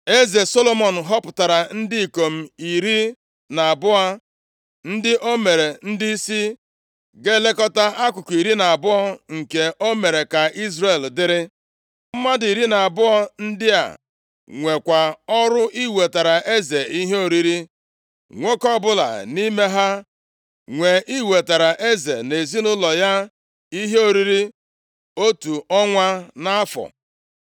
Eze Solomọn họpụtara ndị ikom iri na abụọ ndị o mere ndịisi ga-elekọta akụkụ iri na abụọ nke o mere ka Izrel dịrị. Mmadụ iri na abụọ ndị a nwekwa ọrụ iwetara eze ihe oriri. Nwoke ọbụla nʼime ha nwe iwetara eze na ezinaụlọ ya ihe oriri otu ọnwa nʼafọ.